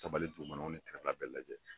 Tabali dugumanaw ni kɛrɛda bɛɛ lajɛlen